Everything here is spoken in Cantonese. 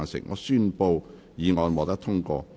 我宣布議案獲得通過。